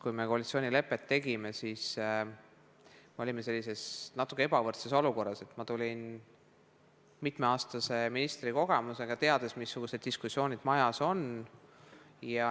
Kui me koalitsioonilepet tegime, olime sellises natuke ebavõrdses olukorras, et ma tulin mitmeaastase ministrikogemusega, teades, missugused diskussioonid majas on.